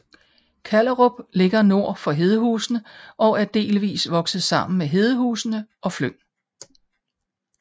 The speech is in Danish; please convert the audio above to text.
Kallerup ligger nord for Hedehusene og er delvist vokset sammen med Hedehusene og Fløng